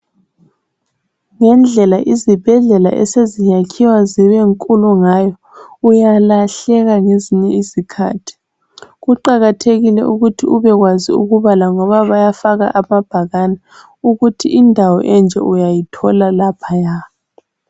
Ngendlela izibhedlela eseziyakhiwa zibenkulu ngayo uyalahleka ngezinye izikhathi kuqakathekile ukuthi ubekwazi ukubala ngoba bayafaka amabhakani ukuthi indawo enje uyayithola laphaya.